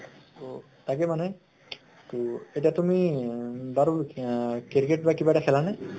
তʼ তাকে মানে । তʼ এতিয়া তুমি উম বাৰু cricket বা কিবা খেলা নে ?